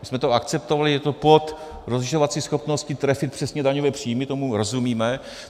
My jsme to akceptovali, je to pod rozlišovací schopností trefit přesně daňové příjmy, tomu rozumíme.